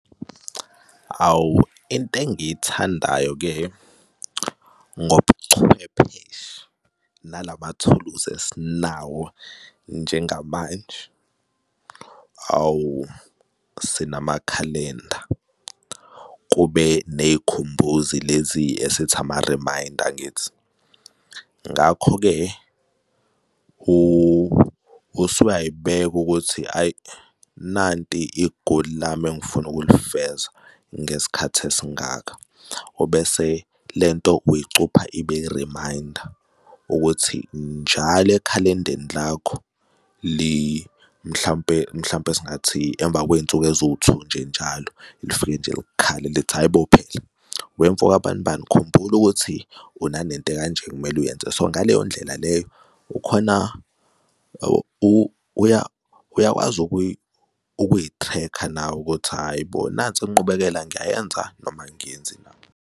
Awu, into engiyithandayo-ke ngobuchwepheshe nalamathuluzi esinawo njengamanje, awu, sinamakhalenda, kube ney'khumbuzi lezi esethi ama-reminder, angithi? Ngakho-ke asuyayibeka ukuthi hhayi, nanti igoli lami engifuna ukuzilifeza ngesikhathi esingaka, ubese le nto uyicupha ibe i-reminder ukuthi njalo ekhalendeni lakho mhlampe, mhlampe singathi emva kwey'nsuku eziwu-two nje njalo lifike nje lifike nje likhala lithi hhayi bo, phela wemfo ka banibani, khumbula ukuthi unale nto ekanje ekumele uyenze. So ngaleyo ndlela leyo, ukhona uyakwazi ukuy'threkha nawe ukuthi hhayi bo, nansi inqubekela, ngiyayenza noma angiyenzi na.